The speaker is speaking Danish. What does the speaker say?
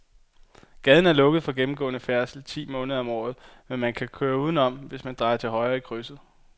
Gaden er lukket for gennemgående færdsel ti måneder om året, men man kan køre udenom, hvis man drejer til højre i krydset.